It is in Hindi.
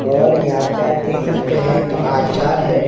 और यहाँ पे आप देख सकते हैं तो आचार हैं ।